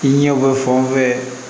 I ɲɛ bɛ fɛn o fɛn